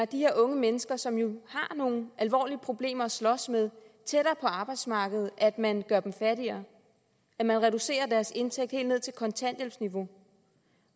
de her unge mennesker som jo har nogle alvorlige problemer at slås med tættere på arbejdsmarkedet at man gør dem fattigere at man reducerer deres indtægt helt ned til kontanthjælpsniveau